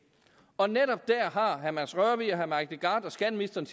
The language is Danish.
og netop der har herre mads rørvig herre mike legarth og skatteministeren